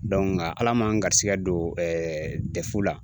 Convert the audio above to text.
nka Ala ma n garisɛgɛ don la